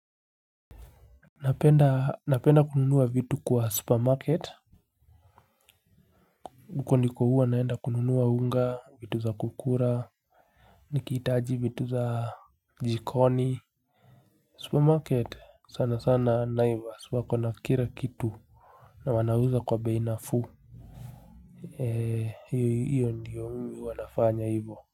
Napenda napenda kununua vitu kwa supermarket huko niko huwa naenda kununuwa unga vitu za kukula nikihitaji vitu za jikoni supermarket sana sana naivas wako na kila kitu na wana uza kwa bei nafuu ee hiyo hiyo ndiyo mimi huwa nafanya hivyo.